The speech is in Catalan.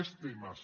més temes